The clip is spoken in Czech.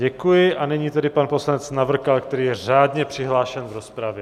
Děkuji, a nyní tedy pan poslanec Navrkal, který je řádně přihlášen v rozpravě.